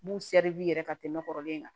N b'u ka tɛmɛ kɔrɔlen kan